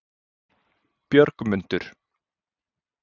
Björgmundur